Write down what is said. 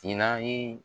Tina